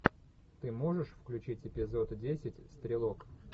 ты можешь включить эпизод десять стрелок